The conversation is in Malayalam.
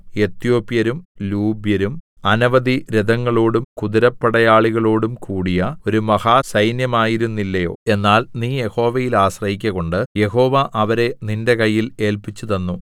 എത്യോപ്യരും ലൂബ്യരും അനവധി രഥങ്ങളോടും കുതിരപ്പടയാളികളോടും കൂടിയ ഒരു മഹാ സൈന്യമായിരുന്നില്ലയോ എന്നാൽ നീ യഹോവയിൽ ആശ്രയിക്ക കൊണ്ട് യഹോവ അവരെ നിന്റെ കയ്യിൽ ഏല്പിച്ചുതന്നു